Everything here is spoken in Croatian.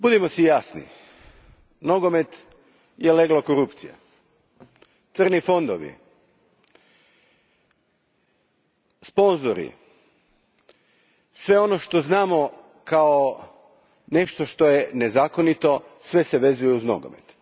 Gospodine predsjedniče, budimo si jasni, nogomet je leglo korupcije. Crni fondovi, sponzori, sve ono što znamo kao nešto što je nezakonito, sve se vezuje uz nogomet.